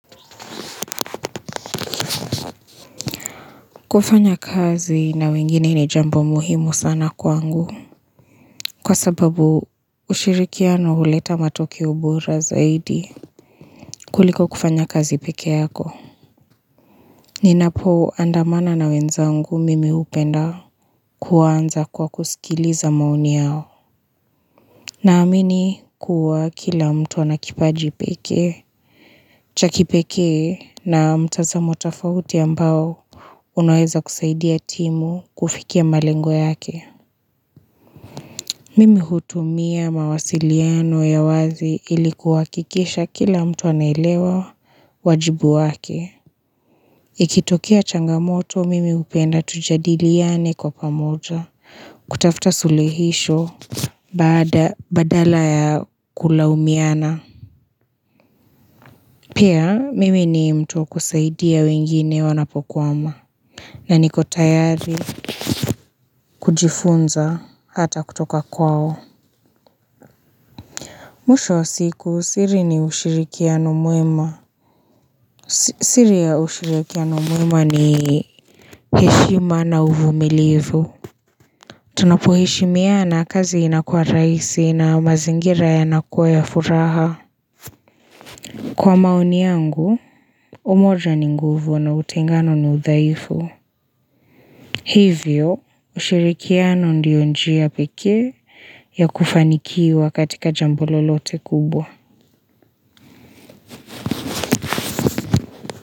Kufanya kazi na wengine ni jambo muhimu sana kwangu. Kwa sababu ushirikiano huleta matokeo bora zaidi kuliko kufanya kazi pekee yako. Ninapo andamana na wenzangu mimi hupenda kuanza kwa kusikiliza maoni yao. Naamini kuwa kila mtu anakipaji pekee. Chaki pekee na mtazamo tafauti ambao unaweza kusaidia timu kufikia malengo yake. Mimi hutumia mawasiliano ya wazi ili kuhakikisha kila mtu anaelewa wajibu wake. Ikitokea changamoto, mimi hupenda tujadiliane kwa pamoja. Kutafuta suluhisho badala ya kulaumiana. Pia, mimi ni mtu kusaidia wengine wanapokwama. Na niko tayari kujifunza hata kutoka kwao. Mwisho wa siku siri ni ushirikiano mwema. Siri ya ushirikiano mwema ni heshima na uvumilivu. Tunapoheshimina kazi inakuwa rahisi na mazingira yanakuwa ya furaha. Kwa maoni yangu, umoja ni nguvu na utengano ni uthaifu. Hivyo, ushirikiano ndio njia pekee ya kufanikiwa katika jambo lolote kubwa.